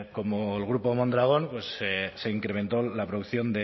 como el grupo mondragón pues se incrementó la producción